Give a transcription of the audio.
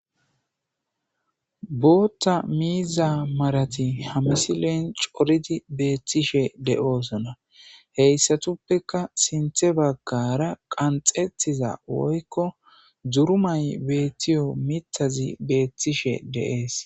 bootta miiza marati hamisileen coridi beettishe de7oosona heyssatuppeka sinthe baggara qanxettiza woykko durumay beettiyo mithazi beettishe de7ees